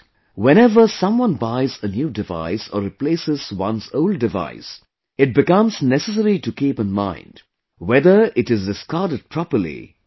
Whenever someone buys a new device or replaces one's old device, it becomes necessary to keep in mind whether it is discarded properly or not